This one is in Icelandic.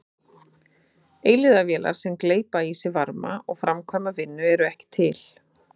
Eilífðarvélar sem gleypa í sig varma og framkvæma vinnu eru ekki til.